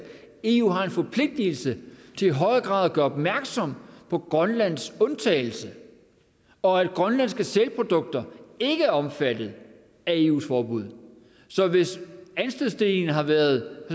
eu har en forpligtelse til i højere grad at gøre opmærksom på grønlands undtagelse og at grønlandske sælprodukter ikke er omfattet af eus forbud så hvis anstødsstenen har været